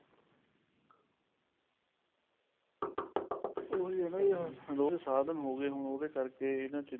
ਉਹੀ ਹੈ ਨਾ ਵੀ ਲੋਕ ਸਾਧਨ ਹੋਗੇ ਉਹਦੇ ਕਰਕੇ ਇਹਨਾ ਚੀਜ਼ਾਂ ਦਾ